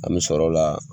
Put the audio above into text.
An bɛ sɔrɔ o la